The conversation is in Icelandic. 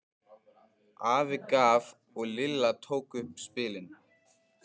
Afi gaf og Lilla tók upp spilin.